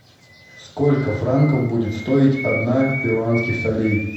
сколько франков будет стоить одна перуанских солей